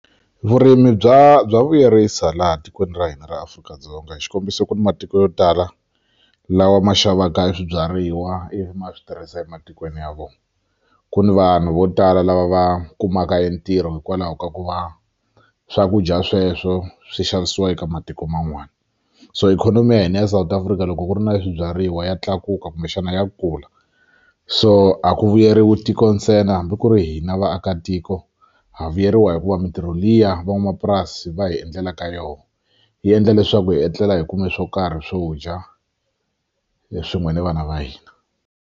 Vurimi bya bya vuyerisa laha tikweni ra hina ra Afrika-Dzonga xikombiso ku ni matiko yo tala lawa ma xavaka e swibyariwa ivi ma swi tirhisa ematikweni ya vona ku ni vanhu vo tala lava va kumaka e ntirho hikwalaho ka ku va swakudya sweswo swi xavisiwa eka matiko man'wana so ikhonomi ya hina ya South Africa loko ku ri na swibyariwa ya tlakuka kumbexana ya kula so a ku vuyeriwi tiko ntsena hambi ku ri hina vaakatiko ha vuyeriwa hikuva mitirho liya van'wamapurasi va hi endlelaka yona yi endla leswaku hi etlela hi kume swo karhi swo dya swin'we na vana va hina.